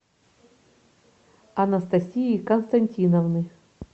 анастасии константиновны